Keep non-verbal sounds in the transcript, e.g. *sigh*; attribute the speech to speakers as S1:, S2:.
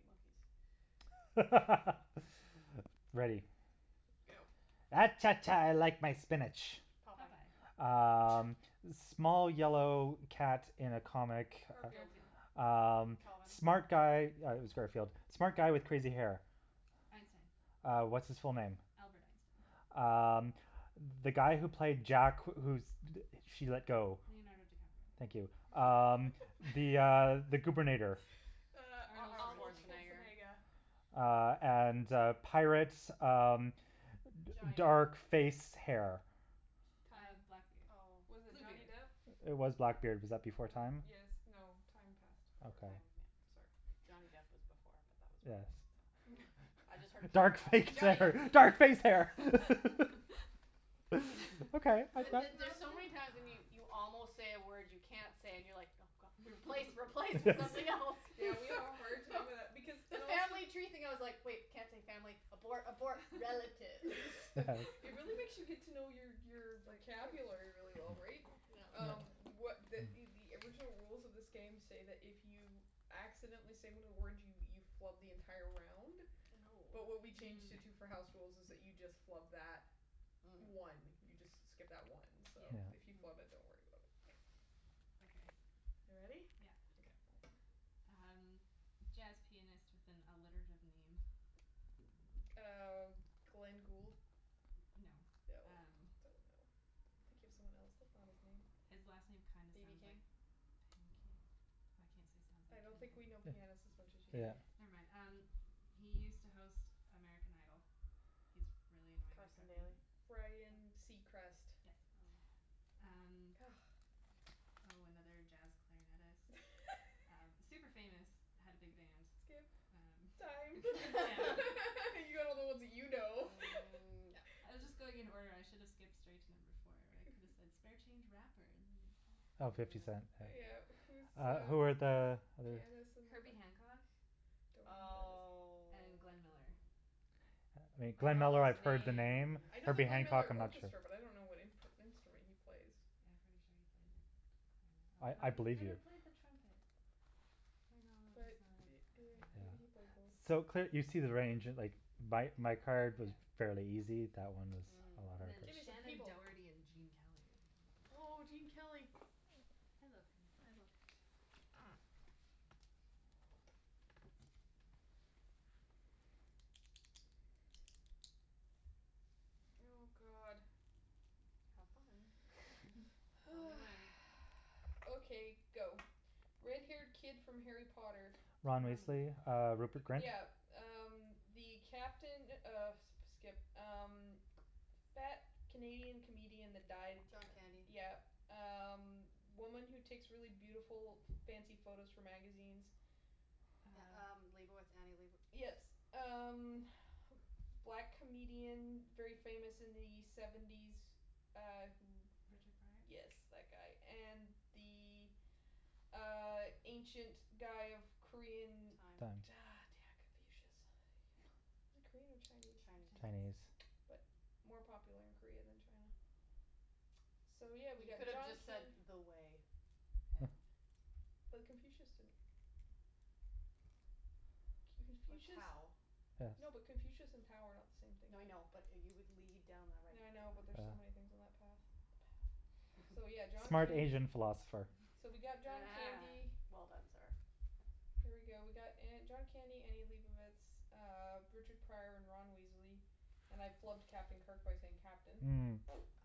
S1: monkeys.
S2: *laughs* Ready.
S3: Go.
S2: Ah cha, cha, I like my spinach.
S1: Popeye.
S4: Popeye.
S2: Um,
S3: *laughs*
S2: small yellow cat in a comic.
S3: Garfield.
S1: Mm.
S4: Garfield.
S2: Um,
S1: Calvin.
S2: smart guy- yeah it was Garfield-
S1: No.
S2: smart guy with crazy hair.
S1: *inaudible*
S4: Einstein.
S2: Uh, what's his full name?
S4: Albert Einstein.
S2: Um, the guy who placed Jack who she let go.
S4: Leonardo DiCaprio.
S2: Thank you.
S1: *inaudible*
S2: Um the, uh,
S3: *laughs*
S2: the goobernator.
S1: *laughs*
S3: Uh,
S4: Arnold
S1: Arnold
S3: Arnold
S4: Schwarzenegger.
S1: Schwarzenegger.
S3: Schwarzenegger.
S2: Uh, and, uh, pirates, um, d-
S1: Johnny
S2: dark
S1: Depp.
S2: face, hair.
S4: Uh,
S3: Time.
S4: blackbeard.
S1: Oh.
S3: Was it Johnny
S4: Bluebeard.
S3: Depp?
S2: It was Blackbeard. Was that before time?
S3: Yes,
S4: Ah.
S3: no, time past already.
S2: Okay.
S1: Time, yeah.
S3: Sorry.
S1: Johnny Depp was before, but that was wrong,
S2: Yes.
S1: so. I just heard
S2: Dark
S1: pirate, I'm like,
S2: face
S1: Johnny Depp.
S3: *laughs*
S2: hair, dark face hair
S4: *laughs*
S2: *laughs*
S1: *laughs* The
S3: K,
S1: the there's so many
S3: that's
S1: times when you
S3: five.
S1: you almost say a word you can't say and you're like, no, god, replace, replace with something else.
S4: *laughs*
S2: *laughs*
S3: *laughs* Yeah, we all have a hard time with that because
S1: *laughs* The
S3: and also
S1: family tree thing, I was like, wait, can't say family, abort, abort.
S3: *laughs*
S1: Relatives
S3: It
S2: *inaudible*
S3: really
S1: *laughs*
S3: makes you get to know your
S4: *laughs*
S3: your
S1: Like
S3: vocabulary really well, right? Um,
S1: *inaudible* *noise*
S3: what
S2: *noise*
S3: the the original rules of this game say that if you accidentally say one of the words, you you flub the entire round, but what
S1: Oh.
S3: we changed it to for
S4: Mm.
S3: house rules is that you just flub that one.
S1: Mm.
S3: You just s- skip that one, so if you
S1: Mm.
S2: Yeah.
S3: flub it, don't worry about it.
S4: Okay.
S3: You ready?
S4: Yeah.
S3: Okay.
S4: Um, jazz pianist with an alliterative name.
S3: Uh, Glenn Gould?
S4: No,
S3: No,
S4: um.
S3: don't know. I'm thinking of someone else. That's not his name.
S4: His last name kind of
S1: BB
S4: sounds like
S1: King?
S4: pancake. I can't say sounds
S3: I
S4: like,
S3: don't think we know
S4: can I?
S3: pianists as much as you
S2: *noise*
S4: K.
S2: Yeah.
S3: do.
S4: Never mind. Um, he used to host American Idol. He's really annoying and
S1: Carson
S4: preppy.
S1: Daly.
S3: Ryan Seacrest.
S4: Yes.
S1: Oh.
S4: Um.
S3: *noise*
S4: Oh, another jazz clarinetist. Super famous, had a
S3: *laughs*
S4: big band.
S3: Skip. Time.
S4: Um, yeah.
S3: *laughs* You got
S1: *laughs*
S3: all the ones that you know.
S1: Mm, yep.
S4: I was just going in order. I should have
S3: *laughs*
S4: skipped straight to number four where I could have said spare change rapper and then you'd get it.
S2: Oh, Fifty Cent.
S1: Mm.
S3: Yeah. Who's
S2: Uh, who were
S3: the
S2: the other?
S3: pianist and the cla-
S4: Herbie Hancock
S3: Don't know who that is.
S1: Oh.
S4: and Glenn Miller.
S1: I
S2: Glenn
S1: know
S2: Miller,
S1: those
S2: I've heard the
S1: names.
S2: name.
S3: I know the
S2: Herbie
S3: Glenn
S2: Hancock,
S3: Miller
S2: I'm not sure.
S3: Orchestra, but I don't know what imp- instrument he plays.
S4: Yeah, I'm pretty sure he played clarinet,
S2: I I
S4: although he
S2: believe
S4: could
S2: you.
S4: have played the trumpet. My knowledge
S3: But
S4: is not as, yeah.
S3: *inaudible* maybe he
S2: Yeah.
S3: played both.
S2: So, cl- you see the range. Like, my my card was fairly
S4: Yeah.
S2: easy; that one was a
S1: Mm.
S2: lot
S4: And then
S3: Give me some
S4: Shannon
S2: harder.
S3: people.
S4: Doherty and Gene Kelly are the other
S3: Oh,
S4: ones.
S3: Gene Kelly.
S4: I love him.
S3: I love him, too. Oh, god.
S1: Have fun. *noise*
S3: *noise*
S1: Tell me
S3: Oh.
S1: when.
S3: Okay, go. Red haired kid from Harry Potter.
S2: Ron
S4: Ron
S2: Weasley,
S4: Weasley.
S2: uh, Rupert Grint?
S3: Yeah. Um, the captain of skip. Um, fat Canadian comedian that died.
S1: John Candy.
S3: Yeah. Um, woman who takes really beautiful, f- fancy photos for magazines.
S1: Yeah
S4: Uh.
S1: um, Leibovitz, Annie Leibo-
S3: Yes. Um, black comedian, very famous in the seventies, uh, who.
S4: Richard Pryor?
S3: Yes, that guy. And the, uh, ancient guy of Korean.
S1: Time.
S2: Time.
S3: *inaudible* damn. Confucius. Is he Korean or Chinese?
S1: Chinese.
S2: Chinese.
S3: But
S4: Chinese.
S3: more popular in Korea than China. So, yeah, we
S1: You
S3: got
S1: could've
S3: John
S1: just said
S3: Can-
S1: the way. *inaudible*
S3: But Confucius didn't.
S1: Or
S3: Confucius.
S1: Tao.
S3: No, but
S2: Yes.
S3: Confucius and Tao are not the same thing.
S1: No, I know, but you would lead down the right
S3: Yeah, I know, but there's
S2: Yeah.
S3: so many
S1: *inaudible*
S3: things on that path. The path. So, yeah, John
S2: Smart
S3: Candy.
S2: Asian philosopher.
S1: *laughs*
S3: So we got John
S1: Ah,
S4: *laughs*
S3: Candy.
S1: well done, sir.
S3: There we go. We got uh John Candy, Annie Leibovitz, uh, Richard Pryor and Ron Weasley. And I flubbed Captain Kirk by saying captain.
S2: Mm.